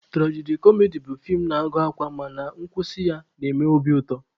Turaji-kọmedi bụ feem na-agụ akwa mana nkwụsị ya na-eme obi ụtọ